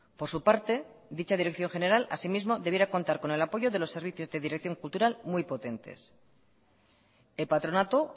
por su parte dicha dirección general así mismo debiera contar con el apoyo de los servicios de dirección cultural muy potentes el patronato